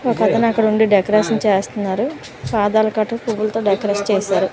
ఒక అతను అక్కడ ఉండి డెకరేషన్ చేస్తున్నారు పువ్వులతో డెకరేషన్ చేశారు.